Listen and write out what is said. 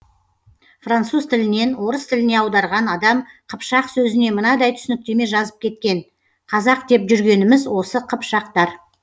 француз тілінен орыс тіліне аударған адам қыпшақ сөзіне мынадай түсініктеме жазып кеткен қазақ деп жүргеніміз осы қыпшақтар